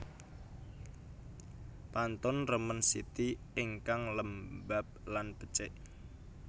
Pantun remen siti ingkang lembab lan bècèk